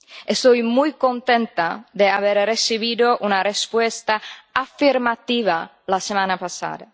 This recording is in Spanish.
Estoy muy contenta de haber recibido una respuesta afirmativa la semana pasada.